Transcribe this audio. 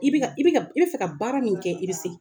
I bi ka, i bi ka, i bɛ fɛ ka baara min kɛ, i be se.